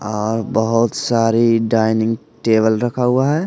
और बहुत सारी डाइनिंग टेबल रखा हुआ है।